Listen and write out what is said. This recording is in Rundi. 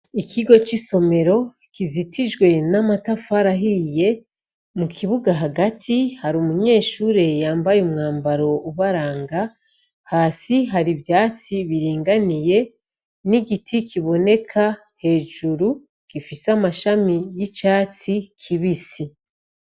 Ikigo cisomero kizitijwe namatafari ahiye mukibuga hagati harumunyeshure yambaye umwambaro ubaranga hasi harivyatsi biringaniye nigiti kiboneka hejuru gifise amashami yicatsi kibisi